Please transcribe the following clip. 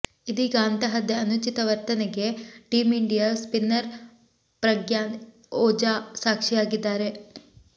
ಇದೀಗ ಅಂತಹದ್ದೇ ಅನುಚಿತ ವರ್ತನೆಗೆ team India spinner Pragyan Ojha ಸಾಕ್ಷಿಯಾಗಿದ್ದಾರೆ